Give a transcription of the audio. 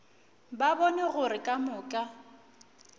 ba bone gore ka moka